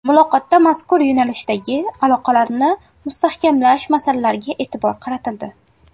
Muloqotda mazkur yo‘nalishdagi aloqalarni mustahkamlash masalalariga e’tibor qaratildi.